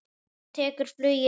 Og tekur flugið út.